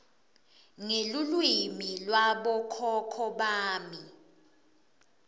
ngelulwimi lwabokhokho bami